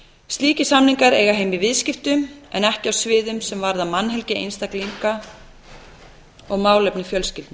slíkir samningar eiga heima í viðskiptum en ekki á sviðum sem varða mannhelgi einstaklinga og málefni fjölskyldna